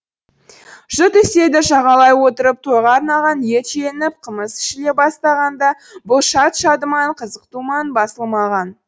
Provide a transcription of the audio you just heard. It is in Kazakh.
жұрт үстелді жағалай отырып тойға арналған ет желініп қымыз ішіле бастағанда бұл шат шадыман қызық думан басылмаған